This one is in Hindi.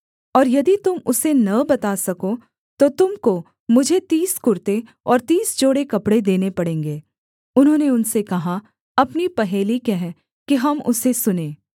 और यदि तुम उसे न बता सको तो तुम को मुझे तीस कुर्ते और तीस जोड़े कपड़े देने पड़ेंगे उन्होंने उनसे कहा अपनी पहेली कह कि हम उसे सुनें